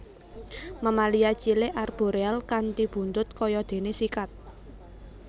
Mamalia cilik arboreal kanthi buntut kayadene sikat